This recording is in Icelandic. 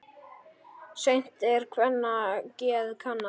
Seint er kvenna geð kannað.